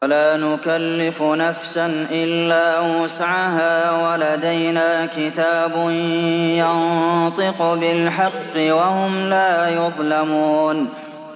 وَلَا نُكَلِّفُ نَفْسًا إِلَّا وُسْعَهَا ۖ وَلَدَيْنَا كِتَابٌ يَنطِقُ بِالْحَقِّ ۚ وَهُمْ لَا يُظْلَمُونَ